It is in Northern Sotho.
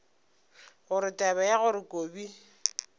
gore taba ya gore kobi